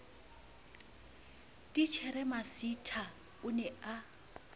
titjhere masitha o ne a